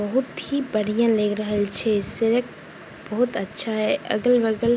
बहुत ही बढ़ियाँ लएग रहल छै सड़क बहुत ही अच्छा हेय अगल-बगल --